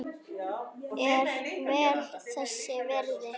Er vel þess virði.